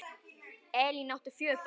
Elín átti fjögur börn.